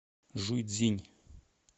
жуйцзинь